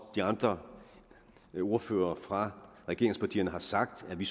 de andre ordførere fra regeringspartierne har sagt er vi